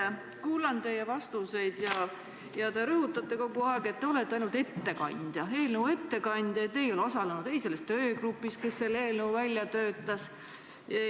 Ma kuulan teie vastuseid, te rõhutate kogu aeg, et te olete ainult eelnõu ettekandja ja et te ei ole osalenud selles töögrupis, kes selle eelnõu välja töötas.